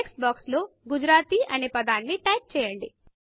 text box లో Gujaratiగుజరాతీ అనే పదాన్ని టైప్ చేయండి